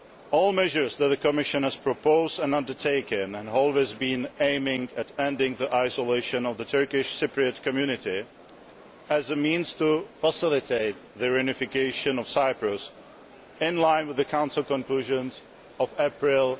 All measures that the Commission has proposed and undertaken have always been aimed at ending the isolation of the Turkish Cypriot community as a means of facilitating the reunification of Cyprus in line with the Council conclusions of April